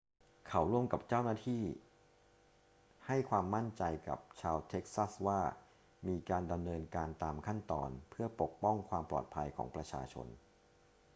เขาร่วมกับเจ้าหน้าที่ให้ความมั่นใจกับชาวเท็กซัสว่ามีการดำเนินการตามขั้นตอนเพื่อปกป้องความปลอดภัยของประชาชน